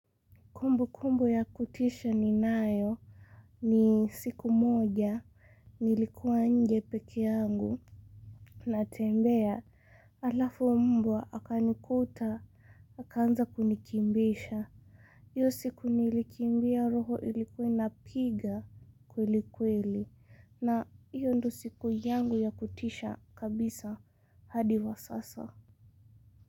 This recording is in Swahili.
Kumbukumbu ya kutisha ninayo ni siku moja nilikuwa nje peke yangu natembea alafu mbwa akanikuta akaanza kunikimbiza. Iyo siku nilikimbia roho ilikuwa inapiga kweli kweli na iyo ndo siku yangu ya kutisha kabisa hadi wa sasa.